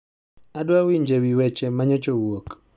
Adwa winje wi weche manyocha owuok